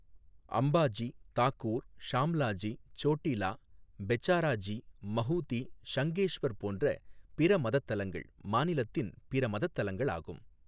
அம்பாஜி, தாகூர், ஷாம்லாஜி, சோட்டிலா, பெச்சாராஜி, மஹூதி, ஷங்கேஷ்வர் போன்ற பிற மதத் தலங்கள் மாநிலத்தின் பிற மதத் தலங்களாகும்.